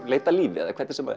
leita að lífi eða hvernig sem